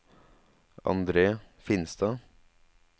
Andre Finstad